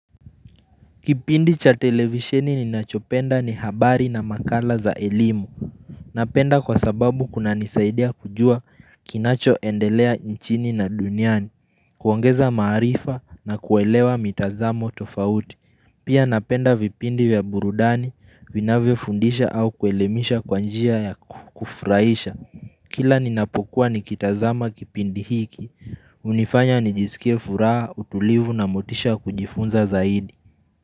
Kipindi cha televisheni ninachopenda ni habari na makala za elimu Napenda kwasababu kunanisaidia kujua kinachoendelea nchini na duniani kuongeza maarifa na kuelewa mitazamo tofauti Pia napenda vipindi vya burudani vinavyofundisha au kuelemisha kwa njia ya kufurahisha Kila ninapokuwa nikitazama kipindi hiki hunifanya nijisikie furaha utulivu na motisha ya kujifunza zaidi.